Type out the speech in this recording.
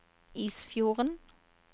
Isfjorden